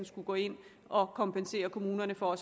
skulle gå ind i og kompensere kommunerne for